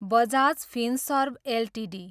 Bajaj Finserv Ltd